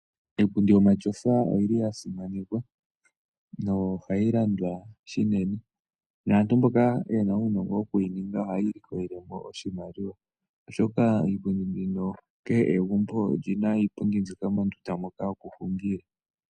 Iipundi yomatyofa oyili yasimanekwa no ohayi landwa shinene naantu mboka yena uunongo wokuyininga ohayi ilikolelemo oshimaliwa oshoka iipundi mbino kehe egumbo olyina iipundi mbika mondunda moka yokuhungila.